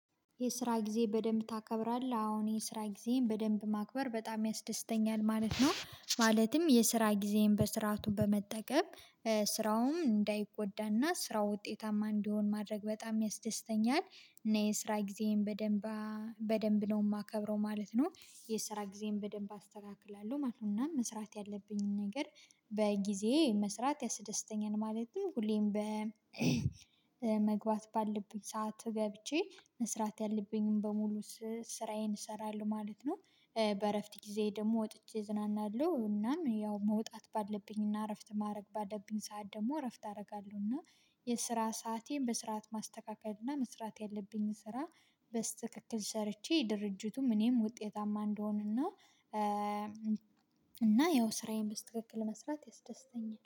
የስራ ጊዜ በደንብ ታከብራለህ? አዎን የስራ ጊዜን በደንብ ማክበር በጣም ያስደስተኛል ማለት ነው። ማለትም የስራ ጊዜን በስርዓቱ በመጠቀም ስራውም እንዳይጎዳና ስራው ውጤታማ እንዲሆን ማድረግ በጣም ያስደስተኛል። እና የስራ ጊዜም በደንብ በደንብ ነው የማከብረው ማለት ነው። የስራ ጊዜን በደንብ አስተካክላለሁ ማለት ነው። እና መስራት ያለብኝን ነገር በጊዜ መስራት ያስደስተኛል። ማለትም ሁሌም በመግባት ባለብኝ ሰዓት ገብቼ መስራት ያለብኝን በሙሉ ስራዬን እሰራለሁ ማለት ነው። በእረፍት ጊዜ ደግሞ ወጥቼ ዝናናለሁ እናም ያው መውጣት ባለብኝ እና እረፍት ማድረግ ባለብኝ ሰዓት ደግሞ እረፍት አደርጋለሁ። እና የስራ ሰአቴን በስርዓት ማስተካከል እና መስራት ያለብኝ ስራ በስተክክል ሰርቼ ድርጅቱም እኔም ውጤታማ እንድሆን። እና እና ያው ስራዬን በትክክል መስራት ያስደስተኛል